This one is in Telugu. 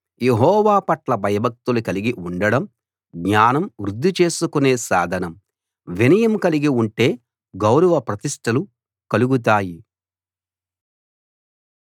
యెహోవా పట్ల భయభక్తులు కలిగి ఉండడం జ్ఞానం వృద్ది చేసుకునే సాధనం వినయం కలిగి ఉంటే గౌరవ ప్రతిష్టలు కలుగుతాయి